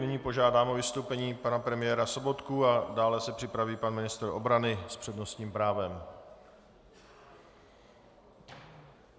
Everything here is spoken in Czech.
Nyní požádám o vystoupení pana premiéra Sobotku, dále se připraví pan ministr obrany s přednostním právem.